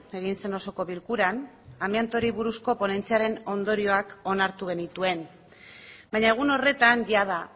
egin zen osoko bilkuran amiantoari buruzko ponentziaren ondorioak onartu genituen baina egun horretan jada